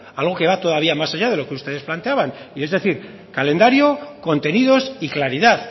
algo que va todavía más allá de lo que ustedes planteaban es decir calendario contenidos y claridad